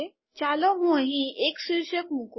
ચાલો હું અહીં એક શીર્ષક મુકું